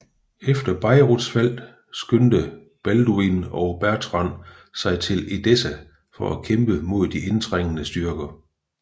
Efter Beiruts fald skyndte Balduin og Bertrand sig til Edessa for at kæmpe imod de indtrængende styrker